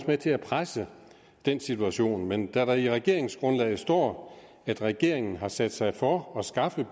med til presse den situation men da der i regeringsgrundlaget står at regeringen har sat sig for at skaffe